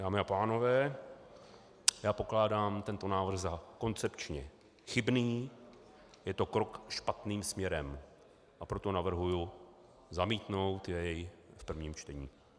Dámy a pánové, já pokládám tento návrh za koncepčně chybný, je to krok špatným směrem, a proto navrhuji zamítnout jej v prvním čtení.